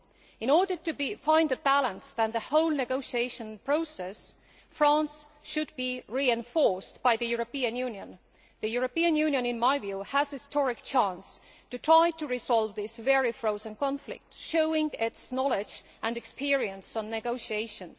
In order to find a balance in the negotiation process, France should be reinforced by the European Union, which in my view has a historic chance to try to resolve this very frozen conflict, showing its knowledge and experience in negotiations.